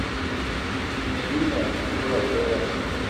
ирина журавлева